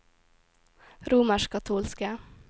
romerskkatolske